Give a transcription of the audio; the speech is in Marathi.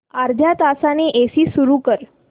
अर्ध्या तासाने एसी सुरू कर